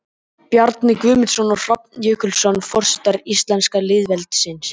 Bjarni Guðmarsson og Hrafn Jökulsson, Forsetar íslenska lýðveldisins.